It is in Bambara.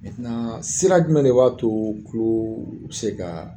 Mɛntenan sira jumɛn de b'a to tulo bi se kaa